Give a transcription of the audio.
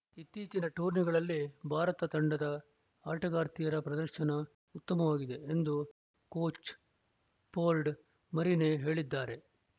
ಇತ್ತೀಚಿನ ಟೂರ್ನಿಗಳಲ್ಲಿ ಭಾರತ ತಂಡದ ಆಟಗಾರ್ತಿಯರ ಪ್ರದರ್ಶನ ಉತ್ತಮವಾಗಿದೆ ಎಂದು ಕೋಚ್‌ ಸ್ಜೋರ್ಡ್‌ ಮರಿನೆ ಹೇಳಿದ್ದಾರೆ